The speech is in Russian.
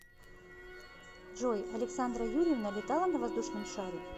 джой александра юрьевна летала на воздушном шаре